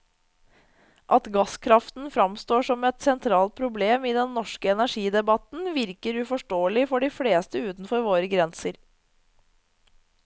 At gasskraften fremstår som et sentralt problem i den norske energidebatten, virker uforståelig for de fleste utenfor våre grenser.